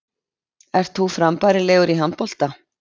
Ert þú frambærilegur í handbolta?